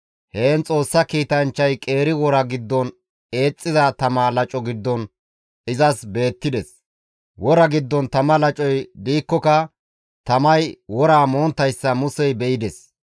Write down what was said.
Heen Xoossa kiitanchchay qeeri wora giddon eexxiza tama laco giddon izas beettides; wora giddon tama lacoy diikkoka tamay woraa monttayssa Musey be7ides.